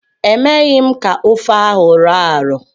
Emeghi m ka ofe ahụ rọọ arọọ.